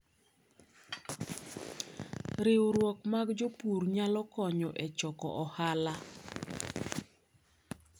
Riwruok mag jopur nyalo konyo e choko ohala.